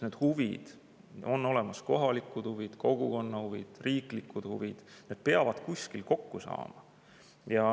Need huvid on olemas – kohalikud huvid, kogukonna huvid, riiklikud huvid – ja need peavad kuskil kokku saama.